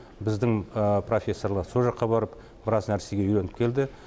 біздің профессорлар со жаққа барып біраз нәрсе үйреніп келді